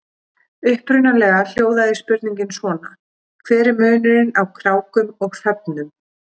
Upprunalega hljóðaði spurningin svona: Hver er munurinn á krákum og hröfnum?